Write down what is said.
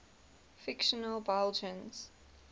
fictional belgians